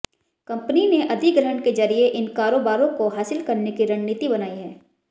company ने अधिग्रहण के जरिये इन कारोबारों को हासिल करने की रणनीति बनाई है